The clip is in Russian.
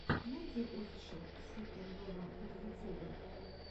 найти офишел си кэн вево на ютюбе